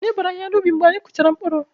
Anyị bọọrọ ahịhịa n'ubi mgbe anyị kpụchara mkpụrụ.